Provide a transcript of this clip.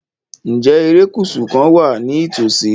Ǹjẹ́ erékùṣù kan wà ní ìtòsí?